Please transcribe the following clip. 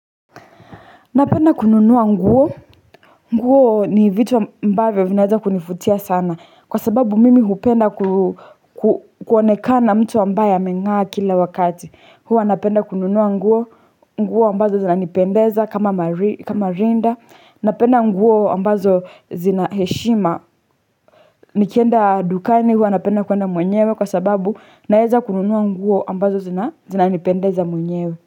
Napenda kununua nguo. Nguo ni vitu ambavyo vinaeza kunivutia sana. Kwa sababu mimi hupenda kuonekana mtu ambaye ameng'aa kila wakati. Huwa napenda kununua nguo. Nguo ambazo zinanipendeza kama rinda. Napenda nguo ambazo zina heshima. Nikienda dukani huwa napenda kwenda mwenyewe kwa sababu naeza kununua nguo ambazo zinanipendeza mwenyewe.